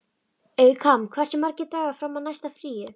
Eykam, hversu margir dagar fram að næsta fríi?